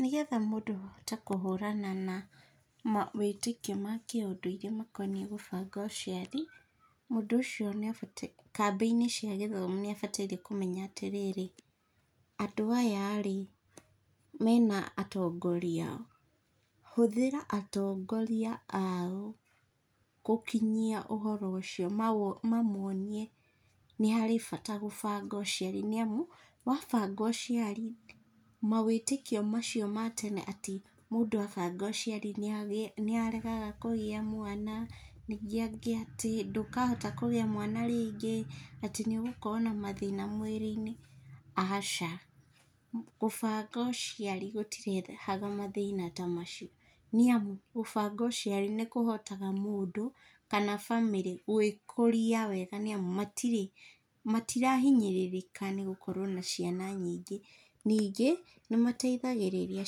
Nĩgetha mũndũ ahote kũhũrana na mawĩtĩkio ma kĩũndũ iria makoniĩ gũbanga ũciari, mũndũ ũcio nĩ abatiĩ, kambĩ-inĩ cia gĩthomo nĩ abatiĩre kũmenya atĩ rĩrĩ, andũ aya rĩ, mena atongoria? Hũthĩra atongoria ao gũkinyia ũhoro ũcio manoonie nĩ harĩ bata gũbanga ũciari. Nĩ amu, wabanga ũciari mawĩtĩkio macio ma tene atĩ mũndũ abanga ũciari nĩ aregaga kũgĩa mwana, ningĩ angĩ atĩ, ndũkahota kũgĩa mwana rĩngĩ, atĩ nĩ ũgakorwo na mathĩna mwĩrĩ-inĩ. Aca, gũbanga ũciari gũtirehaga mathĩna ta macio nĩ amu, gũbanga ũciari nĩ kũhotaga mũndũ kana bamĩrĩ gũĩkũria wega nĩ amu matirĩ matirahinyĩrĩrĩka nĩ gũkorwo na ciana nyingĩ. Ningĩ nĩ mateithagĩrĩria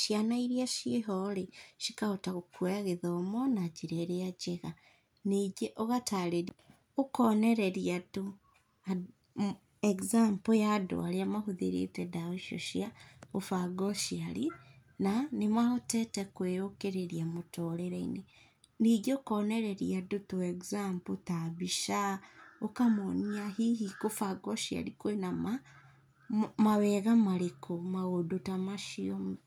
ciana iria ciĩ ho rĩ, cikahota kũoya gĩthomo na njĩra ĩrĩa njega. Ningĩ ũgatarĩria, ũkoonereria andũ, example ya andũ arĩa mahũthĩrĩte ndawa icio cia gũbanga ũciari na nĩ mahotete kwĩũkĩrĩria mũturĩre-inĩ. Ningĩ ũkoonereria andũ tũ example ta mbica, ũkamoonia, hihi kũbanga ũciari kwĩna mawega marikũ? maũndũ ta macio.